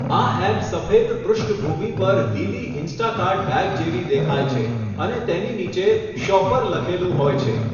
આ એપ સફેદ પૃષ્ઠભૂમિ પર લીલી ઇન્સ્ટાકાર્ટ બેગ જેવી દેખાય છે અને તેની નીચે 'શોપર' લખેલું હોય છે.